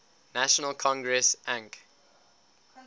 national congress anc